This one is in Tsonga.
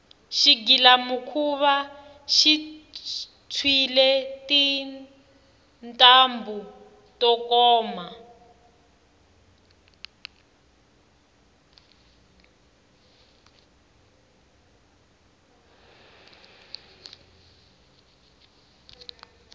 xigilamikhuva xi tshwile tintambhu to komba